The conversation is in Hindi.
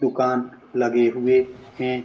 दुकान लगे हुए हैं।